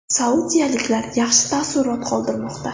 Saudiyaliklar yaxshi taassurot qoldirmoqda.